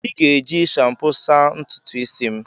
I ga-eji shampo saa ntutu isi m.